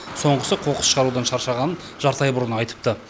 соңғысы қоқыс шығарудан шаршағанын жарты ай бұрын айтыпты